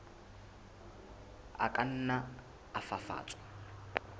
a ka nna a fafatswa